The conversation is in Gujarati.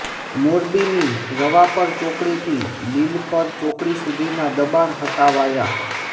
મોરબીની રવાપર ચોકડીથી લીલપર ચોકડી સુધીના દબાણ હટાવાયા